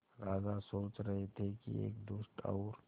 राजा सोच रहे थे कि एक दुष्ट और